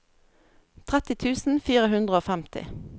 tretti tusen fire hundre og femti